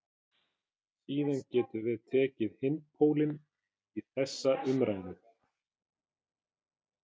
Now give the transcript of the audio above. Síðan getum við tekið hinn pólinn í þessa umræðu.